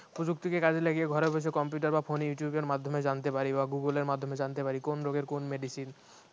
প্রযুক্তিকে কাজে লাগিয়ে ঘরে বসে computer বা phone youtube এর মাধ্যমে জানতে পারি বা google এর মাধ্যমে জানতে পারি কোন রোগের কোন medicine